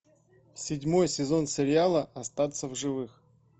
седьмой сезон сериала остаться в живых